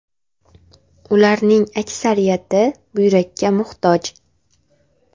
Ularning aksariyati buyrakka muhtoj.